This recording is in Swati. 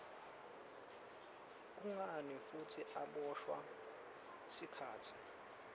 kungani futsi aboshwa sikhatsi